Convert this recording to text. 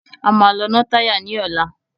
A máa lọ ná táyà ní ọ̀la.